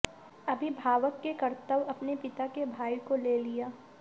अभिभावक के कर्तव्य अपने पिता के भाई को ले लिया